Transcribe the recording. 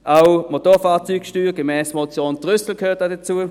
auch die Motorfahrzeugsteuer gemäss Motion Trüssel gehört hier dazu.